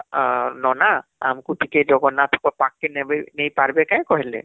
...ନନା ଆମକୁ ଟିକେ ଜଗନ୍ନାଥ କେ ପଖକେ ନେଇ ପାରିବ କେଁ କହିଲେ